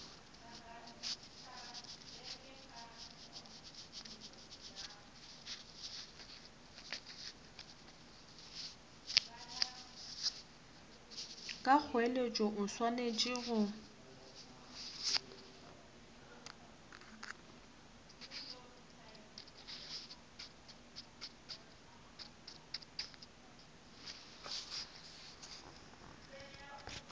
ka kgoeletšo o swanetše go